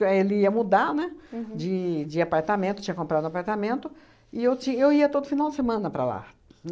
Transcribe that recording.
Ele ia mudar, né, de de apartamento, tinha comprado apartamento, e eu ti eu ia todo final de semana para lá.